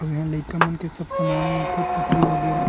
अऊ ईहाँ लइका मन के सब सामान मिलथे पुतरी वगेरा--